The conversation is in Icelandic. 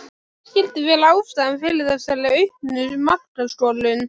Hver skyldi vera ástæðan fyrir þessari auknu markaskorun?